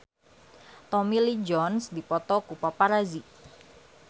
Tommy Lee Jones dipoto ku paparazi